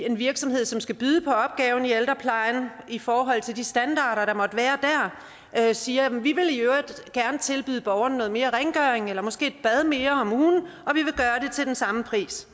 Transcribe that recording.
en virksomhed som skal byde på opgaven i ældreplejen i forhold til de standarder der måtte være der siger vi vil i øvrigt gerne tilbyde borgerne noget mere rengøring eller måske bad mere om ugen og til den samme pris